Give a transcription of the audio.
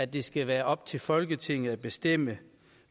det skal være op til folketinget at bestemme